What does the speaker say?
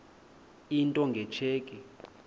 into nge tsheki